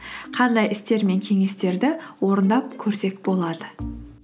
қандай істер мен кеңестерді орындап көрсек болады